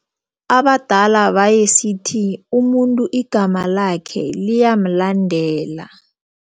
Abadala bayesithi umuntu igama lakhe liyamlandela.